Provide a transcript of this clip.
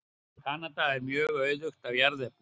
Kanada er mjög auðugt af jarðefnum.